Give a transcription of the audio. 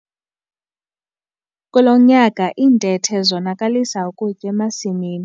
Kulo nyaka iintethe zonakalisa ukutya emasimini.